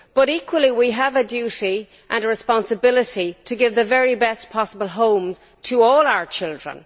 Equally, we have a duty and a responsibility to give the very best possible home to all our children.